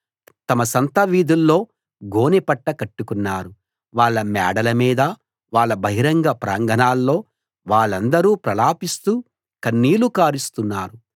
తమ సంత వీధుల్లో గోనెపట్ట కట్టుకున్నారు వాళ్ళ మేడల మీద వాళ్ళ బహిరంగ ప్రాంగణాల్లో వాళ్ళందరూ ప్రలాపిస్తూ కన్నీళ్లు కారుస్తున్నారు